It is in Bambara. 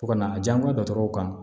Fo ka na a diyanko dɔgɔtɔrɔw kan